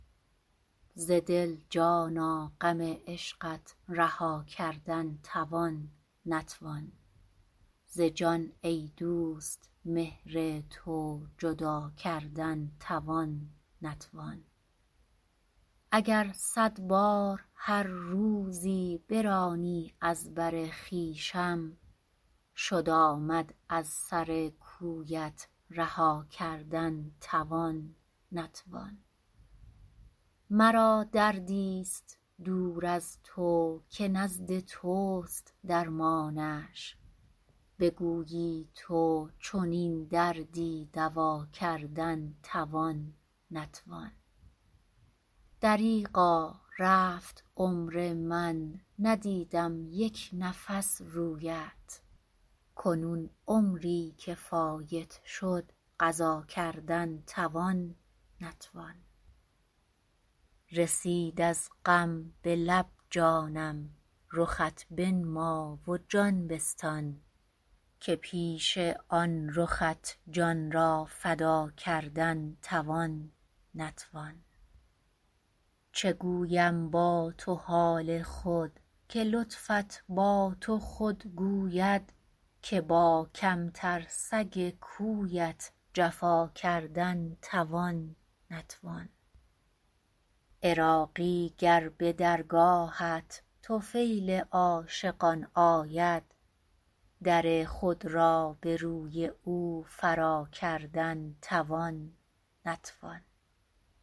ز دل جانا غم عشقت رها کردن توان نتوان ز جان ای دوست مهر تو جدا کردن توان نتوان اگر صد بار هر روزی برانی از بر خویشم شد آمد از سر کویت رها کردن توان نتوان مرا دردی است دور از تو که نزد توست درمانش بگویی تو چنین دردی دوا کردن توان نتوان دریغا رفت عمر من ندیدم یک نفس رویت کنون عمری که فایت شد قضا کردن توان نتوان رسید از غم به لب جانم رخت بنما و جان بستان که پیش آن رخت جان را فدا کردن توان نتوان چه گویم با تو حال خود که لطفت با تو خود گوید که با کمتر سگ کویت جفا کردن توان نتوان عراقی گر به درگاهت طفیل عاشقان آید در خود را به روی او فرا کردن توان نتوان